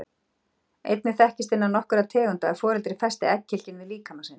Einnig þekkist innan nokkurra tegunda að foreldri festi egghylkin við líkama sinn.